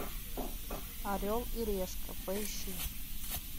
орел и решка поищи